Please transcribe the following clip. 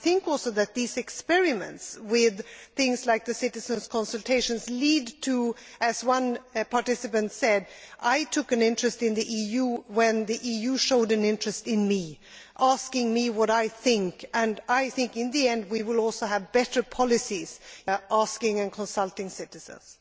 I also think that these experiments with things like the citizens' consultations lead to greater interest in the EU. As one participant said I took an interest in the EU when the EU showed an interest in me, asking me what I think. I believe that in the end we will also have better policies by asking and consulting citizens.